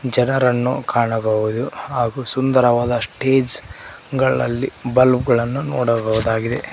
ಜನರನ್ನು ಕಾಣಬಹುದು ಹಾಗು ಸುಂದರವಾದ ಸ್ಟೇಜ್ ಗಳಲ್ಲಿ ಬಲ್ಬ್ ಗಳನ್ನು ನೋಡಬಹುದಾಗಿದೆ.